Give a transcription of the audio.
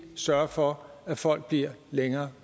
sørge for at folk bliver længere